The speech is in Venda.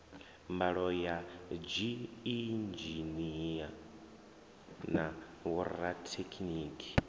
mbalo ya dziinzhinia na vhorathekhiniki